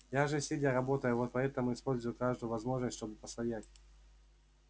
я же сидя работаю вот поэтому использую каждую возможность чтобы постоять